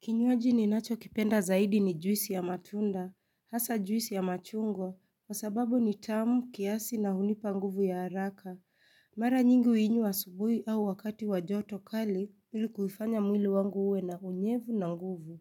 Kinywaji ninacho kipenda zaidi ni juisi ya matunda, hasa juisi ya machungwa, kwa sababu ni tamu, kiasi na hunipa nguvu ya haraka. Mara nyingi huinywa subuhi au wakati wa joto kali, ili kuifanya mwili wangu uwe na unyevu na nguvu.